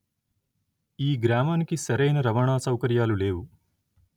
ఈ గ్రామానికి సరి అయిన రవాణా సౌకర్యాలు లేవు